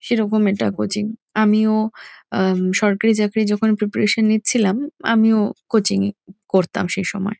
সেরকম এটা কোচিং আমিও আহ সরকারি চাকরি যখন প্রিপারেশন নিছিলাম আমিও কোচিং -ই করতাম সে সময়।